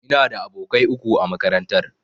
Ina da abokai uku a makarantar.